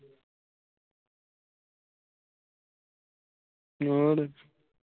ਹੋਰ?